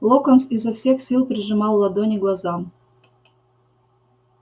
локонс изо всех сил прижимал ладони к глазам